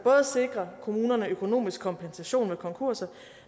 sikrer kommunerne økonomisk kompensation ved konkurser